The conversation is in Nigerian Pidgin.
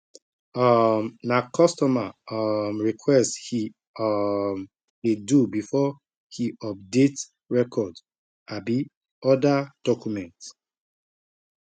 um na customer um request he um dey do before he update record abi other document